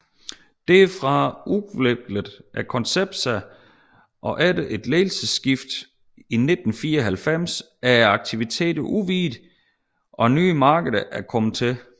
Derfra udviklede konceptet sig og efter et ledelsesskift i 1994 er aktiviteterne udvidet og nye markeder er kommet til